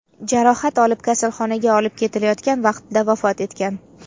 jarohat olib, kasalxonaga olib ketilayotgan vaqtida vafot etgan.